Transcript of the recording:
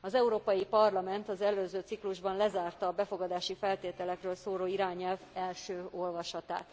Az Európai Parlament az előző ciklusban lezárta a befogadási feltételekről szóló irányelv első olvasatát,